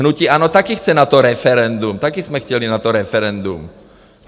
Hnutí ANO taky chce na to referendum, taky jsme chtěli na to referendum.